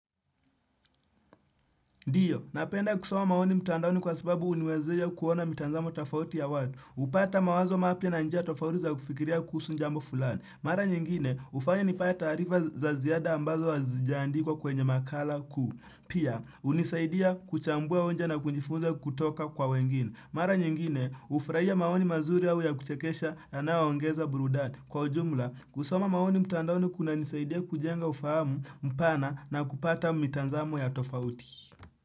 Ndiyo, napenda kusoma maoni mtandaoni kwa sababu huniwezesha kuona mitazamo tafauti ya watu. Upata mawazo mapya na njia tofauti za kufikiria kuhusu jambu fulani. Mara nyingine, hufanya nipate taarifa za ziada ambazo hazijaandikwa kwenye makala kuu. Pia, hunisaidia kuchambua hoja na kujifunza kutoka kwa wengine. Mara nyingine, hufurahia maoni mazuri au ya kuchekesha yanayoongeza burudani. Kwa jumla, kusoma maoni mtandaoni kunanisaidia kujenga ufahamu mpana na kupata mitazamo ya tofauti.